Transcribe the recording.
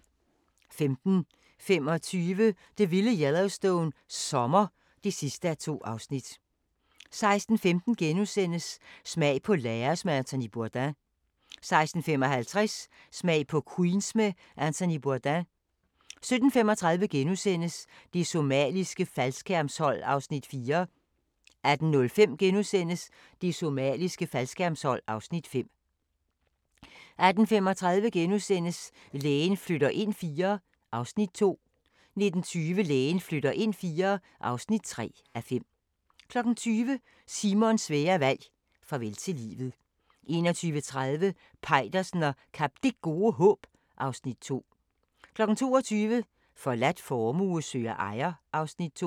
15:25: Det vilde Yellowstone – sommer (2:2) 16:15: Smag på Laos med Anthony Bourdain * 16:55: Smag på Queens med Anthony Bourdain 17:35: Det somaliske faldskærmshold (Afs. 4)* 18:05: Det somaliske faldskærmshold (Afs. 5)* 18:35: Lægen flytter ind IV (2:5)* 19:20: Lægen flytter ind IV (3:5) 20:00: Simons svære valg – farvel til livet 21:30: Peitersen og Kap Det Gode Håb (Afs. 2) 22:00: Forladt formue søger ejer (Afs. 2)